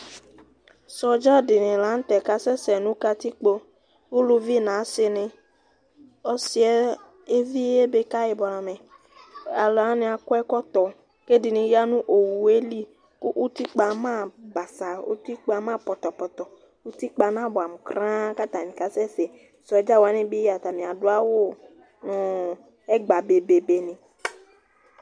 sɔdzɑɗiɲi lɑŋtɛ kɑsɛsɛ ɲụ kɑtikpo ωlụvi ɲɑsiṇi ɔsiɛ ɛvi ɛbɛkạyiblɑmɛ ɑlụwɑɲiɑ tɔɛkotọ kɛɗiɲiyɑ ɲụ õwʊɛli ũtikpmɑpɑtɑ ũtikpɑmɑtɑ ũtikpɑmɑpotopoto ũtikpɑɲɑbua kũrụɑạ kɑtɑɲikaɑsɛşɛ sɔdzɑwɑbi atɑṅiɑ dụɑwụbéɓébé